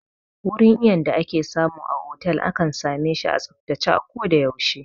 Wurin iyon da ake samu a otal akan same shi a tsaftace a ko da yaushe